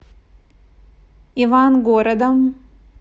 ивангородом